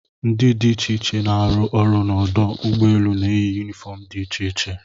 Ndị dị iche iche na-arụ ọrụ n'ọdụ ụgbọ elu na-eyi yunifọm dị iche iche.